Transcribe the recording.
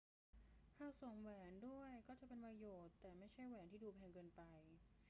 หากสวมแหวนด้วยก็จะเป็นประโยชน์ แต่ไม่ใช่แหวนที่ดูแพงเกินไป